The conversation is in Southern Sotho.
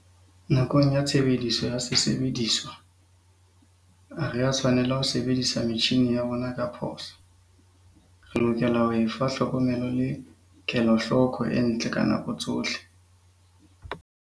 Nakong ya tshebediso ya sesebediswa, ha re a tshwanela ho sebedisa metjhine ya rona ka phoso. Re lokela ho e fa tlhokomelo le kelohloko e ntle ka nako tsohle.